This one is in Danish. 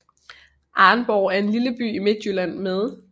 Arnborg er en lille by i Midtjylland med